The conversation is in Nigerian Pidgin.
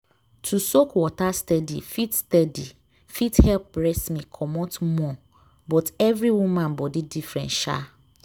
to soak water steady fit steady fit help breast milk comot more but every woman body different sha.